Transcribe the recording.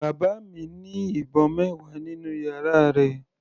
Bàbá mi ní ìbọn mẹwa nínú yàrá rẹ̀.